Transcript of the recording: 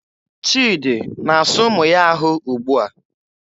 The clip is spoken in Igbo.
Chidi na-asa ụmụ ya ahụ ugbua.